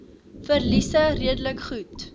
verliese redelik goed